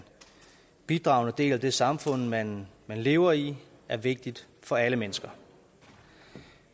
bidragende del af det samfund man lever i er vigtigt for alle mennesker